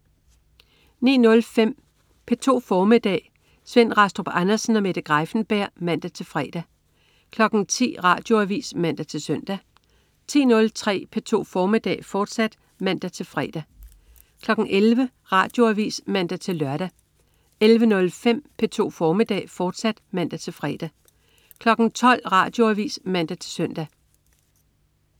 09.05 P2 formiddag. Svend Rastrup Andersen og Mette Greiffenberg (man-fre) 10.00 Radioavis (man-søn) 10.03 P2 formiddag, fortsat (man-fre) 11.00 Radioavis (man-lør) 11.03 P2 formiddag, fortsat (man-fre) 12.00 Radioavis (man-søn)